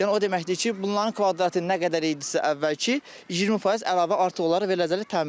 Yəni o deməkdir ki, bunların kvadratı nə qədər idisə əvvəlki, 20% əlavə artıq olaraq veriləcəkdir təmirli.